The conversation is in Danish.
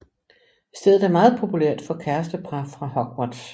Stedet er meget populært for kærestepar fra Hogwarts